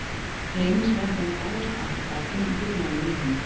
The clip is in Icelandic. Leynir sér ekki að hún dáist að kraftinum og dugnaðinum í honum.